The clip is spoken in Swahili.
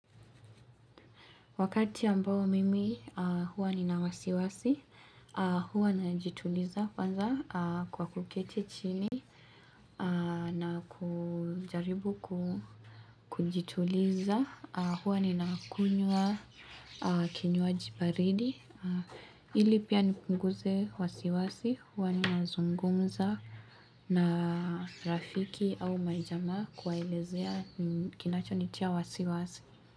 Wakati ambao mimi huwa nina wasiwasi, huwa najituliza kwanza kwa kuketi chini, na kujaribu kujituliza, huwa ninakunywa kinywaji baridi. Ili pia nipunguze wasiwasi, huwa ninazungumza na rafiki au majamaa kuwaelezea kinachonitia wasiwasi.